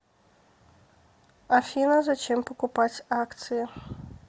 афина зачем покупать акции